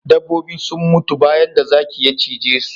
Dabbobi sun mutu bayan da zaki ya cije su